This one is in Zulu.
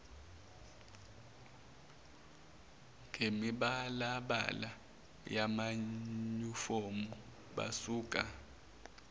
ngemibalabala yamanyufomu basuka